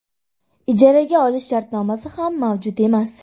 Ijaraga olish shartnomasi ham mavjud emas.